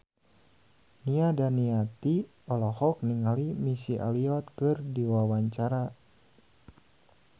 Nia Daniati olohok ningali Missy Elliott keur diwawancara